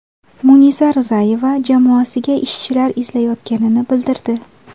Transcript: Munisa Rizayeva jamoasiga ishchilar izlayotganini bildirdi.